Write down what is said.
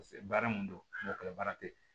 baara mun don baara te yen